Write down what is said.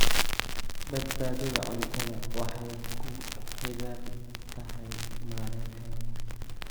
Badbaadada cuntadu waxay ku xidhan tahay maaraynta wanaagsan.